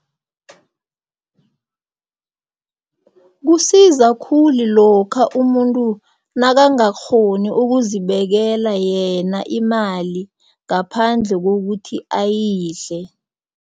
Kusiza khulu lokha umuntu nakangakghoni ukuzibekela yena imali ngaphandle kokuthi ayidle.